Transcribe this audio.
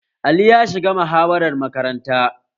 Ali ya shiga muhawarar makaranta?